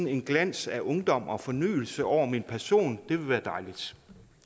en glans af ungdom og fornyelse over min person det ville være dejligt